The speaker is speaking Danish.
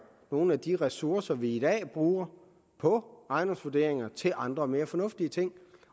nogle af de ressourcer vi i dag bruger på ejendomsvurderinger til andre og mere fornuftige ting